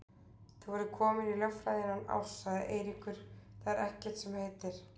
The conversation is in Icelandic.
Þú verður kominn í lögfræði innan árs, sagði Eiríkur, það er ekkert sem heitir.